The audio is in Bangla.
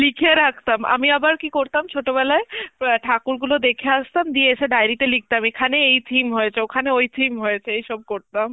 লিখে রাখতাম, আমি আবার কি করতাম ছোটবেলায় অ্যাঁ ঠাকুর গুলো দেখে আসতাম, দিয়ে এসে diary তে লিখতাম, এখানে এই theme হয়েছে, ওখানে ওই theme হয়েছে, এইসব করতাম.